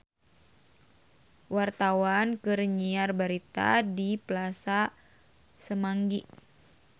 Wartawan keur nyiar berita di Plaza Semanggi